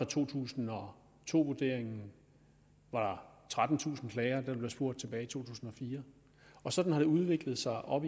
to tusind og to vurderingen var der trettentusind klager da der blev spurgt tilbage i to tusind og fire og sådan har det udviklet sig op